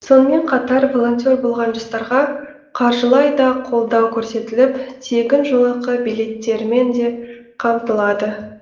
сонымен қатар волонтер болған жастарға қаржылай да қолдау көрсетіліп тегін жолақы билеттерімен де қамтылады